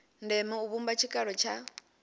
ndeme u vhumba tshikalo tsha